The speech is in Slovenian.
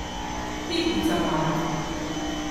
Pikica moja!